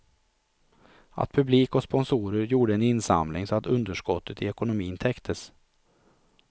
Att publik och sponsorer gjorde en insamling så att underskottet i ekonomin täcktes.